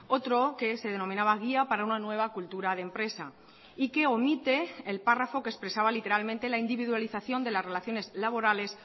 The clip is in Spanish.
otro que se denominaba guía para una nueva cultura de empresa y que omite el párrafo que expresaba literalmente la individualización de las relaciones laborales